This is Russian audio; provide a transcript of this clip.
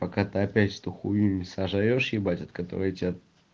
пока ты опять эту хуйню не сожрёшь от которой тебя